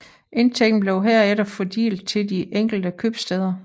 Indtægten blev herefter fordelt til de enkelte købstæder